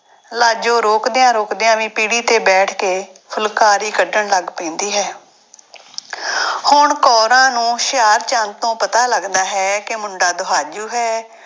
ਲਾਜੋ ਰੋਕਦਿਆਂ ਰੋਕਦਿਆਂ ਵੀ ਪੀੜ੍ਹੀ ਤੇ ਬੈਠ ਕੇ ਫੁਲਕਾਰੀ ਕੱਢਣ ਲੱਗ ਪੈਂਦੀ ਹੈ ਹੁਣ ਕੋਰਾਂ ਨੂੰ ਹੁਸ਼ਿਆਰਚੰਦ ਤੋਂ ਪਤਾ ਲੱਗਦਾ ਹੈ ਕਿ ਮੁੰਡਾ ਦੁਹਾਜੂ ਹੈ।